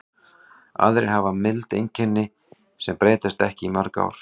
Aðrir hafa mild einkenni sem breytast ekki í mörg ár.